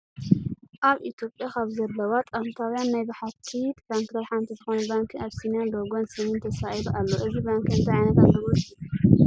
ኣብ ኢትዮጵያ ካብ ዘለዋ ጥንታውያን ናይ ብሕቲ ባንክታት ሓንቲ ዝኾነት ባንኪ ኣቢሲንያ ሎጎን ስምን ተሳኢሉ ኣሎ። እዚ ባንኪ እንታይ ዓይነት ኣገልግሎት ይህብ?